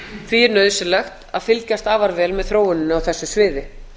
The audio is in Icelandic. því er nauðsynlegt að fylgjast afar vel með þróuninni á þessu sviði